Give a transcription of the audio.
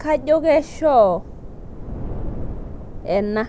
kajo kechoo ena